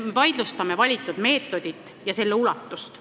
Me vaidlustame valitud meetodit ja selle ulatust.